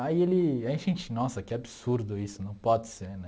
Aí ele aí a gente, nossa, que absurdo isso, não pode ser, né?